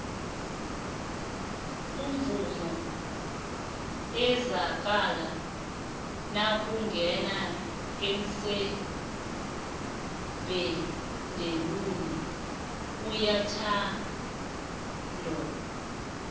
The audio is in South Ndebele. umvumo ezwakala nakungena iseven deluan uyathandwo